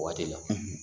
O waati la